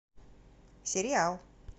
сериал